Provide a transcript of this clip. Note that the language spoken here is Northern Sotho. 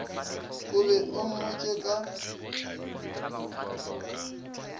o be o mmotše ka